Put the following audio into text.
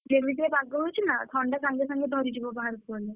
ଯେମିତିକା ପାଗ ହଉଛି ନା ଥଣ୍ଡା ସାଙ୍ଗେ ସାଙ୍ଗେ ଧରିଯିବ ବାହାରକୁ ଗଲେ।